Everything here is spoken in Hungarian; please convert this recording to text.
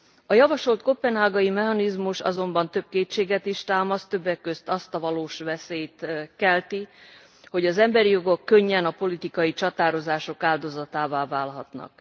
A javasolt koppenhágai mechanizmus azonban több kétséget is támaszt, többek közt azt a valós veszélyt rejti, hogy az emberi jogok könnyen a politikai csatározások áldozatává válhatnak.